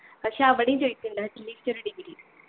പക്ഷെ അവിടേം ചോയ്ക്കുണ്ട് at least ഒരു degree